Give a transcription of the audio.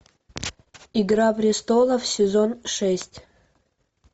игра престолов сезон шесть